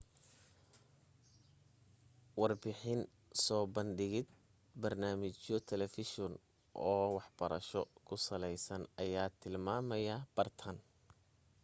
warbixin soo bandhigid barnaamijyo telefishan oo waxbarasha ku saleysan ayaa tilmaamaya bartaan